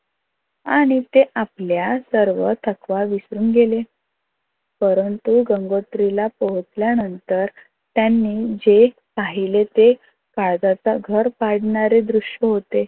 आणि ते आपल्या सर्व थकवा विसरून गेले. परंतु गंगोत्रीला पोहोचल्या नंतर त्यांनी जे पहिले ते काळजाचे घर काढणारे दृश्य होते.